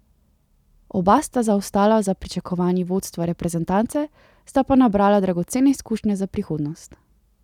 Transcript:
Oba sta zaostala za pričakovanji vodstva reprezentance, sta pa nabrala dragocene izkušnje za prihodnost.